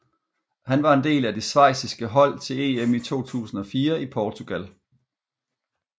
Han var en del af det schweiziske hold til EM i 2004 i Portugal